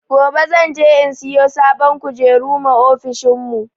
Gobe zan je in siyo sabon kujeru ma ofishin mu